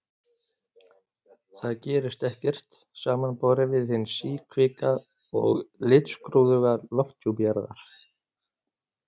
Þar gerist ekkert, samanborið við hinn síkvika og litskrúðuga lofthjúp Jarðar.